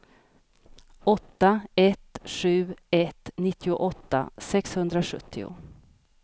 åtta ett sju ett nittioåtta sexhundrasjuttio